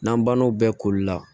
N'an bannaw bɛɛ koli la